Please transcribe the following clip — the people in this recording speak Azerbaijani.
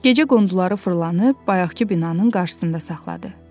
Gecə qunduları fırlanıb bayaqkı binanın qarşısında saxladı.